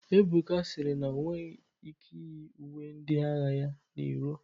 Ebuka sịrị na onweghi ike iyi uwe ndi agha ga n'iro.